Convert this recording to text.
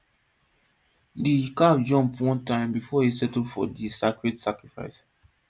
the calf jump one time before e settle for the sacred sacrifice